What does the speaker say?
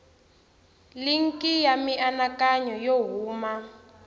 linki ya mianakanyo yo huma